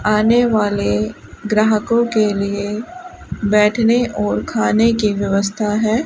आने वाले ग्राहकों के लिए बैठने और खाने की व्यवस्था है।